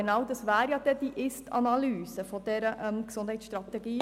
Genau dies wäre ja das Ziel der Ist-Analyse der Gesundheitsstrategie.